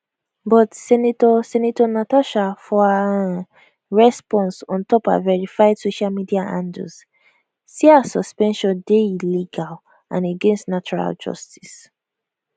but senator senator natasha for her um response on top her verified social media handles say her suspension dey illegal and against natural justice